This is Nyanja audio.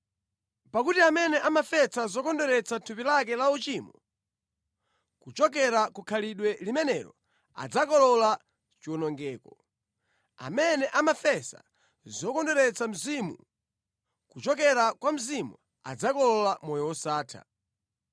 Pakuti amene amafesa zokondweretsa thupi lake la uchimo, kuchokera ku khalidwe limenelo adzakolola chiwonongeko; amene amafesa zokondweretsa Mzimu, kuchokera kwa Mzimu adzakolola moyo wosatha.